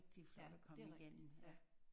Ja det er rigtigt ja